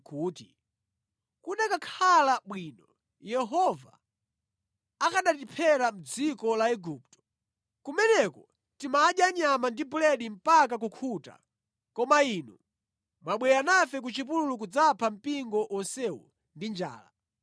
kuti, “Kukanakhala bwino Yehova akanatiphera mʼdziko la Igupto! Kumeneko timadya nyama ndi buledi mpaka kukhuta, koma inu mwabwera nafe ku chipululu kudzapha mpingo wonsewu ndi njala!”